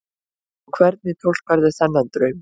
Og hvernig túlkarðu þennan draum?